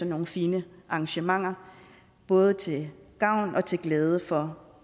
nogle fine arrangementer både til gavn og til glæde for